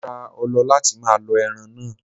Mo ra ọlọ láti máa lọ ẹran náà.